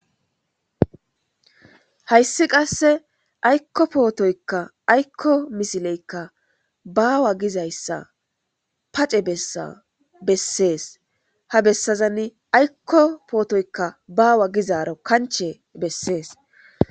Hayssi qasde aykko pootoykka aykko misileykka baawa gizayssa pace bessa bessees.habessazani aykko pootoy baawa gizaaro bessees.